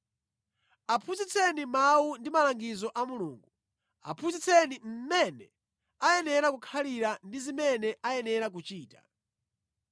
Aphunzitseni mawu ndi malangizo a Mulungu. Aphunzitseni mmene ayenera kukhalira ndi zimene ayenera kuchita.